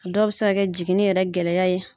Dɔw bɛ se ka kɛ jigini yɛrɛ gɛlɛya ye